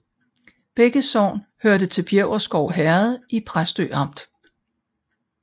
Begge sogne hørte til Bjæverskov Herred i Præstø Amt